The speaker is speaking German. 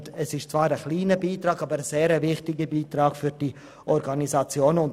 Es geht um einen kleinen, aber sehr wichtigen Beitrag für diese Organisationen.